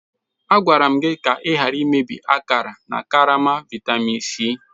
Agwara m gị ka ị ghara imebi akara na karama vitamin C.